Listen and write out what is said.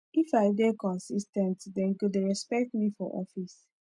if i dey consis ten t dem go dey respect me for office